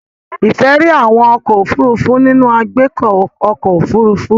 Ife ríi àwọn ọkọ́ òfurufú nínú agbeko ọkọ́ òfurufú.